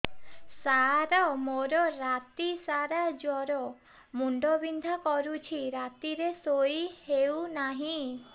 ସାର ମୋର ରାତି ସାରା ଜ୍ଵର ମୁଣ୍ଡ ବିନ୍ଧା କରୁଛି ରାତିରେ ଶୋଇ ହେଉ ନାହିଁ